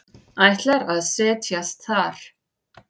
Ætlar að set jast þar.